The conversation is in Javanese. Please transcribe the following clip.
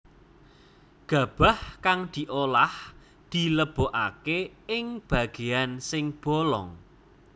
Gabah kang diolah dilebokaké ing bagéan sing bolong